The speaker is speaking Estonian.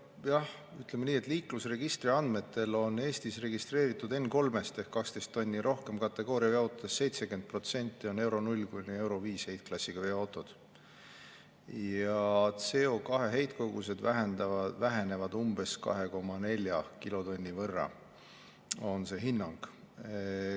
Nojah, ütleme nii, et liiklusregistri andmetel Eestis registreeritud N3-st ehk 12 tonni rohkem kategooria jaotuses 70% on Euro 0 kuni Euro 5 heitklassiga veoautod ja CO2 heitkogused vähenevad umbes 2,4 kilotonni võrra, on see hinnang.